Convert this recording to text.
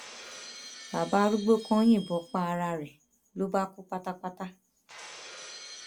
bàbá arúgbó kan yìnbọn pa ara rẹ ló bá kú pátápátá